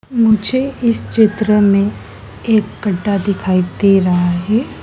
मुझे इस चित्र में एक गड्ढा दिखाई दे रहा है।